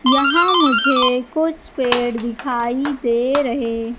यहां मुझे कुछ पेड़ दिखाई दे रहें--